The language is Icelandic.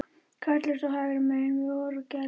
Karlarnir stóðu hægra megin við orgelið.